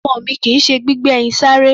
Ọmọ mi kì í ṣe eré gbígbé ẹyin sáré.